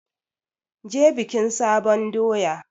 Je bikin sabon doya!